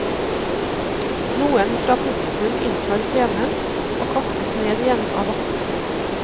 Noen fra publikum inntar scenen, og kastes ned igjen av vaktene.